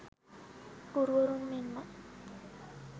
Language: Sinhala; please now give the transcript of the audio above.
ගුරුවරුන් මෙන්ම